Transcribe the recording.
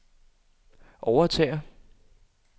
overtager